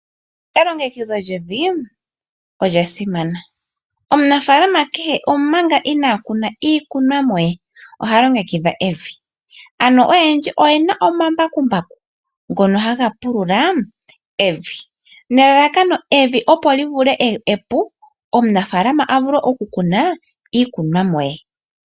Elongekidho lyevi olya simana, omunafalama kehe omanga ina kuna iikunomwa ye oha longekidha evi ano oyendji oye na omambakumbaku ngono haga pulula evi nelalakano opo evi li vule okukala epu omunafalama a vule okukuna iikunomwa ye.